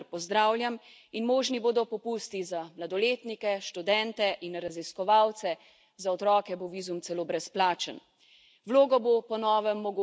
Bolj dostopna bo tudi cena, kar pozdravljam, in možni bodo popusti za mladoletnike, študente in raziskovalce, za otroke bo vizum celo brezplačen.